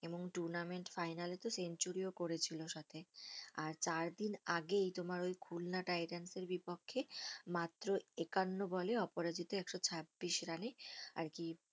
এবং tournament final এ তো সেঞ্চুরিও করেছিল সাথে আর চারদিন আগেই তোমার ওই বিপক্ষে মাত্র একান্ন বলে অপরাজিত একশো চব্বিশ রানে আরকি